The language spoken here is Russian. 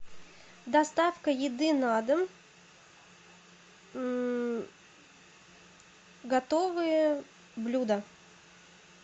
доставка еды на дом готовые блюда